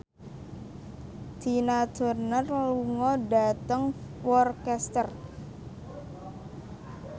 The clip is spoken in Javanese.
Tina Turner lunga dhateng Worcester